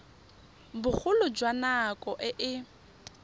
bogolo jwa nako e e